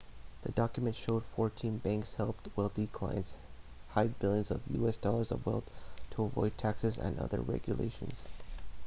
the documents showed fourteen banks helped wealthy clients hide billions of us dollars of wealth to avoid taxes and other regulations